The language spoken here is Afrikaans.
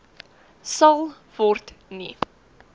sal word nie